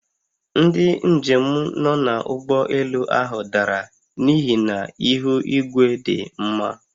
Ndị njem nọ n'ụgbọelu ahụ dara n'ihi na ihu igwe dị mma